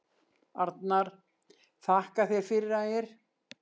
Arnar: Þakka þér fyrir Ægir.